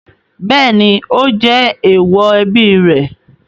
Bẹ́ẹ̀ ni, ó jẹ èèwọ̀ ẹbí rẹ̀.